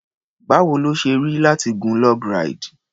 Báwo ló ṣe rí láti gun log ráìdì?